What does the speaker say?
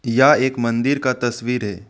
यह एक मंदिर का तस्वीर है।